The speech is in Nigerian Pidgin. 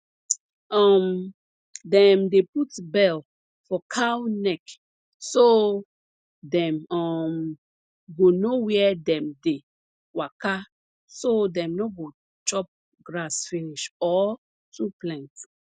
um dem dey put bell for cow neck so dem um go know where dem dey waka so dem no go chop grass finish or too plenty